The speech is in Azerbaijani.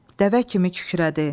Dəvə kimi kükrədi.